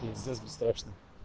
пиздец бесстрашно